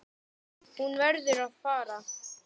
Hún verður að fara.